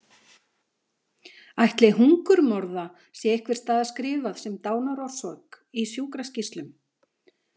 Ætli hungurmorða sé einhvers staðar skrifað sem dánarorsök í sjúkraskýrslum?